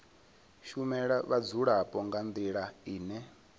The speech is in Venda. shumela vhadzulapo nga ndila ine